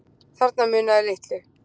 Þarna munaði litlu